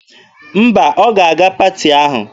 Mba, ọ ga-aga paati ahụ.